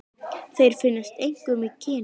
Þeir finnast einkum í Kenía.